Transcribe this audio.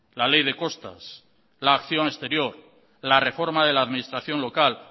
la ley de costas la acción exterior la reforma de la administración local